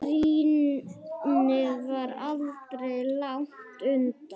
Grínið var aldrei langt undan.